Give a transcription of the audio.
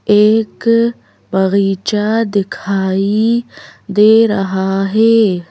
एक बगीचा दिखाई दे रहा है।